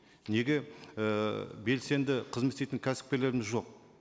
неге ііі белсенді қызмет істейтін кәсіпкерлеріміз жоқ